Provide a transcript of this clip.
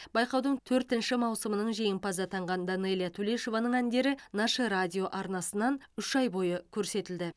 байқаудың төртінші маусының жеңімпазы атанған данэлия тулешованың әндері наше радио арнасынан үш ай бойы көрсетілді